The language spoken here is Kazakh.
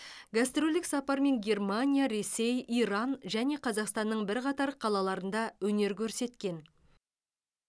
гастрольдік сапармен германия ресей иран және қазақстанның бірқатар қалаларында өнер көрсеткен